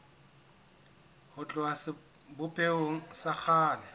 ho tloha sebopehong sa kgale